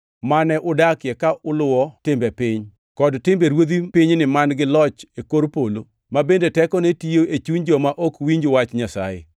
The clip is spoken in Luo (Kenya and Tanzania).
mane udakie ka uluwo timbe piny, kod timbe ruodh pinyni man-gi loch e kor polo, ma bende tekone tiyo e chuny joma ok winj wach Nyasaye.